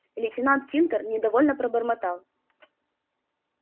лейтенант тинтер недовольно пробормотал